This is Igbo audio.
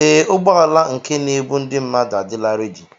Ee, ụgbọala nke n'ebu ndị mmadụ adịla rẹ́di.